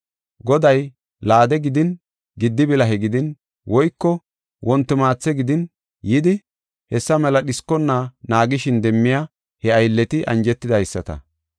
Goday laade gidin, giddi bilahe gidin, woyko wonti maathe gidin yidi, hessa mela dhiskona naagishin demmiya he aylleti anjetidaysata.